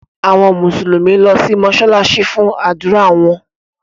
Àwọn Mùsùlùmí lọ si mósálásí fun ádùra wọn.